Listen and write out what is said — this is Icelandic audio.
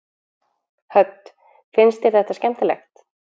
Hödd: Finnst þér þetta skemmtilegt?